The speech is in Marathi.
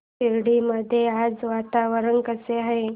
शिर्डी मध्ये आज वातावरण कसे आहे